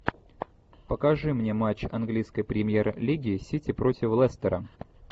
покажи мне матч английской премьер лиги сити против лестера